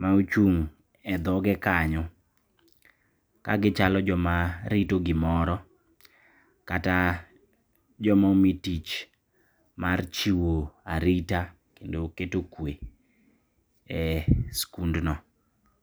maochung' e dhoge kanyo kagichalo jomarito gimoro kata joma omi tich mar chiwo arita kendo keto kwe e skundno.